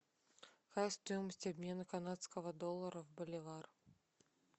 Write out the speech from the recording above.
какая стоимость обмена канадского доллара в боливар